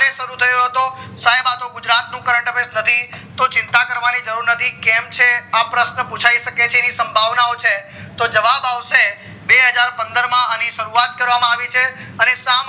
ક્યારે શરુ થયો હતો સાયબ આ તો ગુજરાત નું current affairs નથી તો ચિંતા કરવાની જરૂર નથી કેમ છે આ પ્રશ્ન પચાય શકે છે એની સંભાવના છે તો જવાબ આવશે બેહજાર પંદર માં અણી શરૂવાત કરવામાં આવી છે અને સાથે